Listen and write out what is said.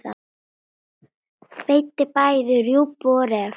Veiddi bæði rjúpu og ref.